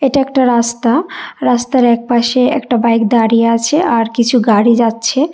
এটা একটা রাস্তা রাস্তার একপাশে একটা বাইক দাঁড়িয়ে আছে আর কিছু গাড়ি যাচ্ছে।